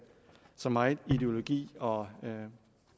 så meget i ideologi og